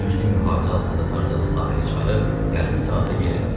Güclü mühafizə altında Tarzanı sahilə çıxarıb yarım saata geri qayıtdılar.